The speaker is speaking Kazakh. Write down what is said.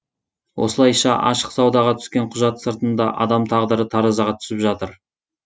осылайша ашық саудаға түскен құжат сыртында адам тағдыры таразыға түсіп жатыр